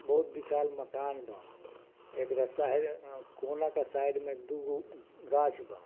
बहुत विशाल मकान बा | एकरा साइड कोना के साइड में दुगो गाछ बा |